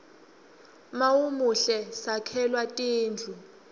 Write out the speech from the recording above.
mawumuhle sakhelwa tindlu